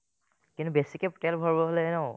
কিন্তু বেছিকে তেল ভৰাব হ'লে ন